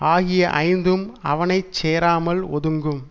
ஆகிய ஐந்தும் அவனை சேராமல் ஒதுங்கும்